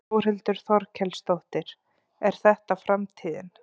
Þórhildur Þorkelsdóttir: Er þetta framtíðin?